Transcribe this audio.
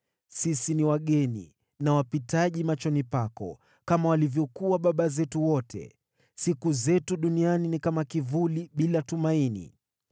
Sisi ni wageni na wapitaji machoni pako, kama walivyokuwa baba zetu wote. Siku zetu duniani ni kama kivuli, bila tumaini.